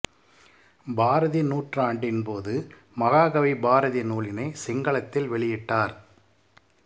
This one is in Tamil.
பாரதி நூற்றாண்டின் போது மகாகவி பாரதி நூலினை சிங்களத்தில் வெளியிட்டார்